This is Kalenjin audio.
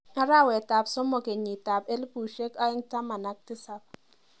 Arawetap somok kenyitap elbushek aeng taman ak tisap.